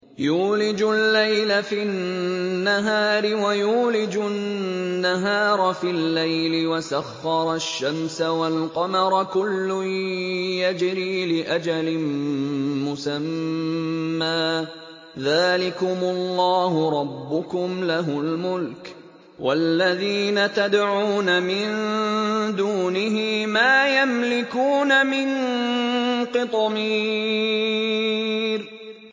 يُولِجُ اللَّيْلَ فِي النَّهَارِ وَيُولِجُ النَّهَارَ فِي اللَّيْلِ وَسَخَّرَ الشَّمْسَ وَالْقَمَرَ كُلٌّ يَجْرِي لِأَجَلٍ مُّسَمًّى ۚ ذَٰلِكُمُ اللَّهُ رَبُّكُمْ لَهُ الْمُلْكُ ۚ وَالَّذِينَ تَدْعُونَ مِن دُونِهِ مَا يَمْلِكُونَ مِن قِطْمِيرٍ